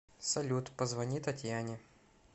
салют позвони татьяне